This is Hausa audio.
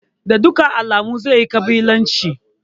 Da dukkan alamu zai yi ƙabilanci.